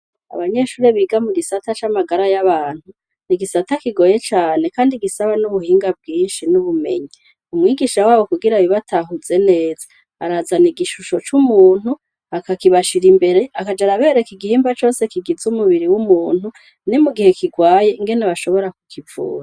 Abanyeshure biga mu gisata c'amagara y'abantu ni igisata kigoye cane, kandi gisaba n'ubuhinga bwinshi n'ubumenyi umwigisha wabo kugira bibatahuze neza arazana igishusho c'umuntu akakibashira imbere akajara abereka igihimba cose kigiza umubiri w'umuntu ne mu gihe kirwaye ngene bashobora kukivura.